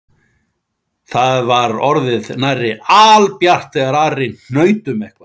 Það var orðið nærri albjart þegar Ari hnaut um eitthvað